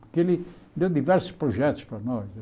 Que ele deu diversos projetos para nós.